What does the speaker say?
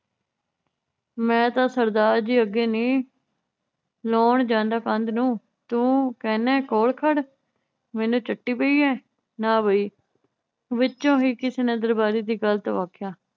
ਮੈ ਤਾਂ ਸਰਦਾਰ ਜੀ ਅੱਗੇ ਨੀ ਲਾਉਣ ਜਾਂਦਾ ਕੰਧ ਨੂੰ ਤੂੰ ਕਹਿੰਨਾ ਕੋਲ ਖੜ। ਮੈਨੂੰ ਚੱਟੀ ਪਈ ਏ। ਨਾ ਬਾਈ, ਵਿਚੋਂ ਹੀ ਕਿਸੇ ਨੇ ਦਰਬਾਰੀ ਦੀ ਗੱਲ ਨੂੰ ਆਖਿਆ